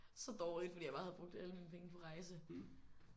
Så dårligt fordi jeg bare havde brugt alle mine penge på rejse